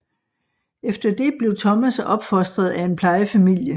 Efter det blev Thomas opfostret af en plejefamilie